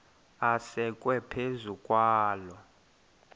asekwe phezu kwaloo